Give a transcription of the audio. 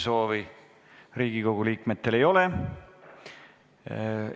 Rohkem Riigikogu liikmetel läbirääkimiste soovi ei ole.